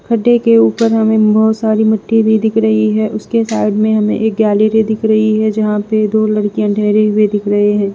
गड्ढे के ऊपर में हमें बहोत सारी मिट्टी भी दिख रही है उसके साइड में हमें एक गैलरी दिख रही है जहां पर दो लड़कियां ठहरे हुए दिख रहे हैं।